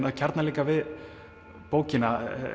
að kjarna líka við bókina